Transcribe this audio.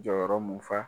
Jɔyɔrɔ mun fa